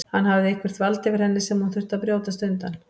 Hann hafði eitthvert vald yfir henni sem hún þurfti að brjótast undan.